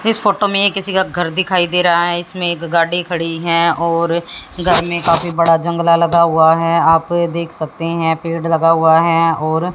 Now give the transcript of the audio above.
इस फोटो में किसी का घर दिखाई दे रहा है इसमें एक गाड़ी खड़ी है और घर में काफी बड़ा जंगला लगा हुआ है आप देख सकते हैं पेड़ लगा हुआ है और--